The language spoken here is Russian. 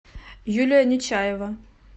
юлия нечаева